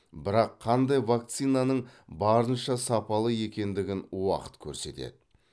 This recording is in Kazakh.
бірақ қандай вакцинаның барынша сапалы екендігін уақыт көрсетеді